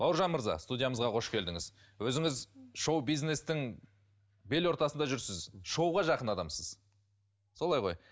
бауыржан мырза студиямызға қош келдіңіз өзіңіз шоу бизнестің бел ортасында жүрсіз шоуға жақын адамсыз солай ғой